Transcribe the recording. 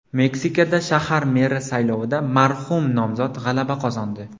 Meksikada shahar meri saylovida marhum nomzod g‘alaba qozondi.